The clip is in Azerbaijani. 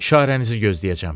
İşarənizi gözləyəcəm.